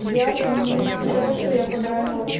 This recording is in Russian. мне сказали что я